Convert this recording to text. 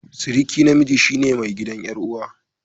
Suruki namiji shine mai gidan yar'uwa.